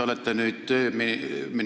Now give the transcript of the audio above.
Härra minister!